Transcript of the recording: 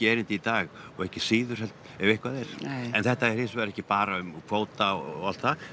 erindi í dag ekki síður ef eitthvað er en þetta er hins vegar ekki bara um kvóta og allt það